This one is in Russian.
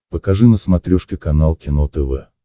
покажи на смотрешке канал кино тв